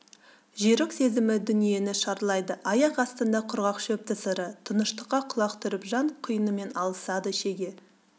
жүйрік сезімі дүниені шарлайды аяқ астында құрғақ шөп тысыры тыныштыққа құлақ түріп жан құйынымен алысады шеге